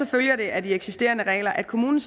følger det af de eksisterende regler at kommunen